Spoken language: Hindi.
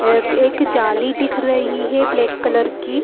एक जाली दिख रही है ब्लैक कलर की।